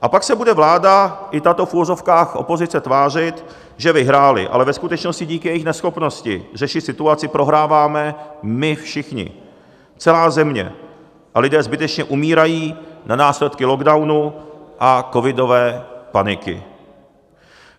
A pak se bude vláda i tato v uvozovkách opozice tvářit, že vyhráli, ale ve skutečnosti díky jejich neschopnosti řešit situaci prohráváme my všichni, celá země, a lidé zbytečně umírají na následky lockdownu a covidové paniky.